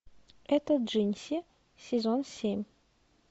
это джинси сезон семь